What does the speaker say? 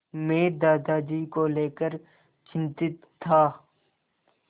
मैं दादाजी को लेकर चिंतित था